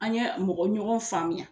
An ye mɔgɔɲɔgɔn faamuya.ɲ